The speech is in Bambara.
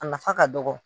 A nafa ka dɔgɔ